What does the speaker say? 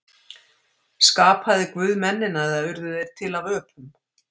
Skapaði Guð mennina eða urðu þeir til af öpum?